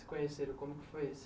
se conheceram. Como que foi isso?